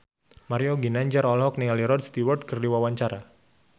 Mario Ginanjar olohok ningali Rod Stewart keur diwawancara